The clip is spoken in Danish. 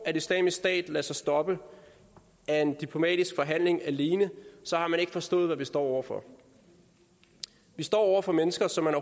at islamisk stat lader sig stoppe af en diplomatisk forhandling alene har man ikke forstået hvad vi står over for vi står over for mennesker som man